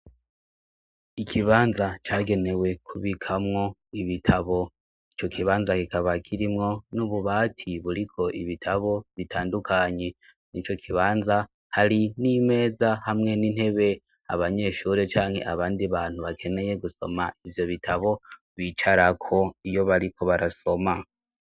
Ikibanza cagenewe kubikamwo ibitabo ico kibanza kikaba kirimwo n'ububati buriko ibitabo bitandukanye mw' ico kibanza hari n'imeza hamwe n'intebe abanyeshuri canke abandi bantu bakeneye gusoma ivyo bitabo bicarako iyo bariko barasoma.